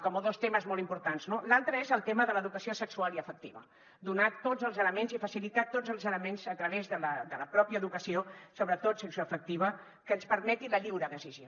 com a dos temes molt importants no l’altre és el tema de l’educació sexual i afectiva donar tots els elements i facilitar tots els elements a tra·vés de la pròpia educació sobretot sexoafectiva que ens permeti la lliure decisió